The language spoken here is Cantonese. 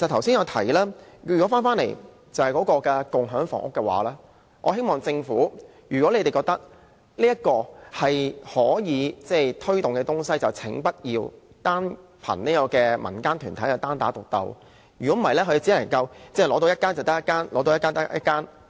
至於我剛才提到的共享房屋計劃，如果政府覺得這是可以推動的項目，我希望不要單靠民間團體"單打獨鬥"，否則它們只能取得一個單位便算一個。